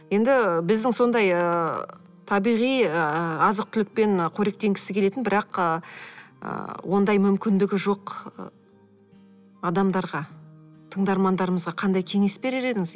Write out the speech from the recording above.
енді біздің сондай ыыы табиғи ы азық түлікпен қоректенгісі келетін бірақ ы ондай мүмкіндігі жоқ адамдарға тыңдармандарымызға қандай кеңес берер едіңіз